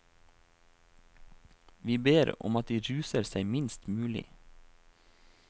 Vi ber om at de ruser seg minst mulig.